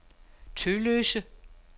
Tølløse